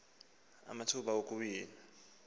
kukunike amathuba okuwina